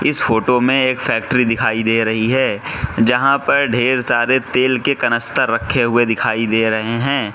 इस फोटो में एक फैक्ट्री दिखाई दे रही है जहां पर ढेर सारे तेल के कनस्तर रखे हुए दिखाई दे रहे हैं।